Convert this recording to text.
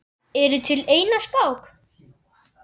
Ertu til í eina skák?